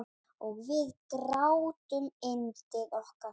Og við grátum yndið okkar.